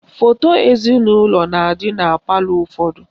Foto ezinaụlọ na-adị na palọ ụfọdụ